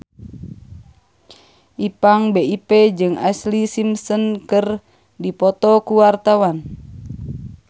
Ipank BIP jeung Ashlee Simpson keur dipoto ku wartawan